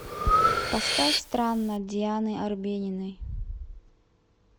поставь странно дианы арбениной